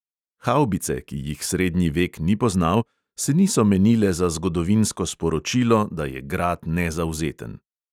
Havbice, ki jih srednji vek ni poznal, se niso menile za zgodovinsko sporočilo, da je grad nezavzeten.